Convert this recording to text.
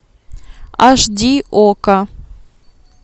аш ди окко